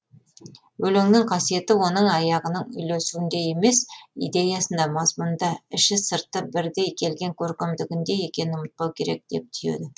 өлеңнің қасиеті оның аяғының үйлесуінде емес идеясында мазмұнында іші сырты бірдей келген көркемдігінде екенін ұмытпау керек деп түйеді